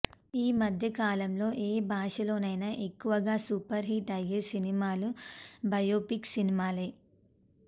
ఈ మధ్య కాలంలో యే భాషలోనైనా ఎక్కువగా సూపర్ హిట్ అయ్యే సినిమాలు బయో పిక్ సినిమాలే